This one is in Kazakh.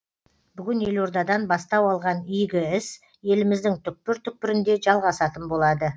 бүгін елордадан бастау алған игі іс еліміздің түкпір түкпірінде жалғасатын болады